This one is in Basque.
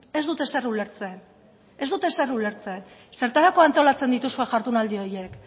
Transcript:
ez dut ezer ulertzen ez dut ezer ulertzen zertarako antolatzen dituzue jardunaldi horiek